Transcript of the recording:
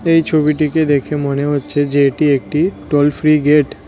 এই ছবিটিকে দেখে মনে হচ্ছে যে এটি একটি টোল ফ্রি গেট ।